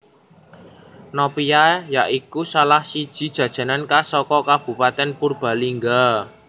Nopia ya iku salah siji jajanan khas saka kabupatèn Purbalingga